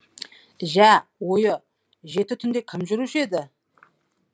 жә ойы жеті түнде кім жүруші еді